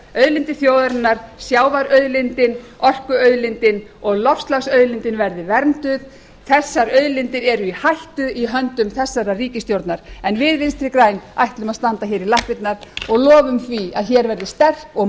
auðlindir þjóðarinnar sjávarauðlindin orkuauðlindin og loftslagsauðlindin verði vernduð þessar auðlindir eru í hættu í höndum þessarar ríkisstjórnar við vinstri græn ætlum að standa hér í lappirnar og lofum því að hér verði sterk og